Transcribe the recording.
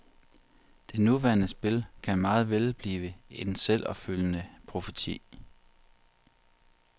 Det nuværende spil kan meget vel blive en selvopfyldende profeti.